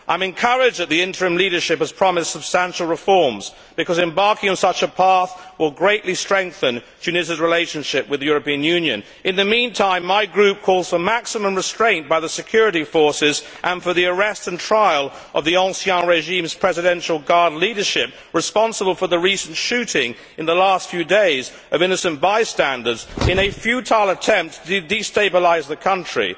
I am encouraged that the interim leadership has promised substantial reforms because embarking on such a path will greatly strengthen Tunisia's relationship with the European Union. In the meantime, my group calls for maximum restraint by the security forces and for the arrest and trial of the ancien regime 's presidential guard leadership responsible for the shooting, in the last few days, of innocent bystanders, in a futile attempt to destabilise the country.